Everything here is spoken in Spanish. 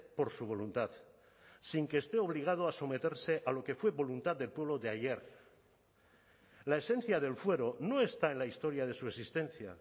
por su voluntad sin que esté obligado a someterse a lo que fue voluntad del pueblo de ayer la esencia del fuero no está en la historia de su existencia